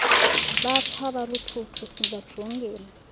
batsha baluthuthu sibajongile